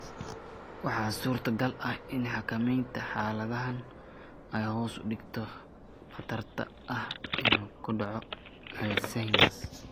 Waxaa suurtogal ah in xakamaynta xaaladahan ay hoos u dhigto khatarta ah inuu ku dhaco Alzheimers.